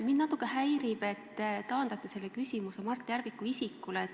Mind natuke häirib, et te taandate selle küsimuse Mart Järviku isikule.